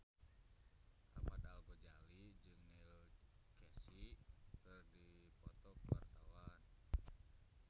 Ahmad Al-Ghazali jeung Neil Casey keur dipoto ku wartawan